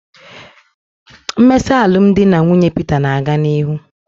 Mmesa alụmdi na nwunye Peter na-aga n'ihu